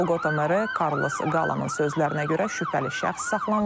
Boqota meri Karlos Qalanın sözlərinə görə şübhəli şəxs saxlanılıb.